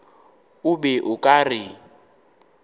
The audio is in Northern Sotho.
o be o ka re